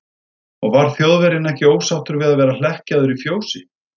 Og var Þjóðverjinn ekki ósáttur við að vera hlekkjaður í fjósi?